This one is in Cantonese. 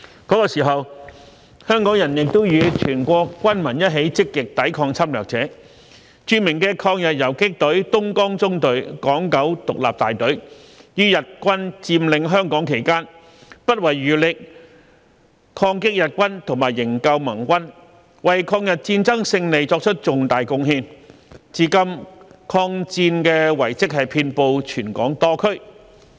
那時，香港人亦與全國軍民一起積極抵抗侵略者，著名的抗日游擊隊東江縱隊港九獨立大隊於日軍佔領香港期間，不遺餘力抗擊日軍和營救盟軍，為抗日戰爭勝利作出重大貢獻，至今抗戰遺蹟遍布全港多區。